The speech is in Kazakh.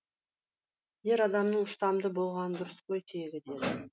ер адамның ұстамды болғаны дұрыс қой тегі деді